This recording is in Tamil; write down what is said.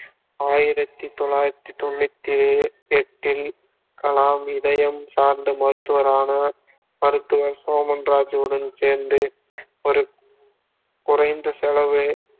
ஆயிரத்தி தொள்ளாயிரத்தி தொண்ணூத்தி எட்டில் கலாம் இதயம் சார்ந்த மருத்துவரான மருத்துவர் சோமன் ராஜுவுடன் சேர்ந்து ஒரு குறைந்த செலவு